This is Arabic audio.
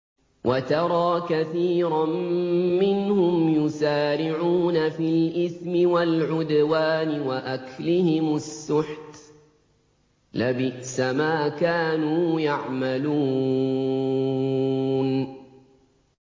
وَتَرَىٰ كَثِيرًا مِّنْهُمْ يُسَارِعُونَ فِي الْإِثْمِ وَالْعُدْوَانِ وَأَكْلِهِمُ السُّحْتَ ۚ لَبِئْسَ مَا كَانُوا يَعْمَلُونَ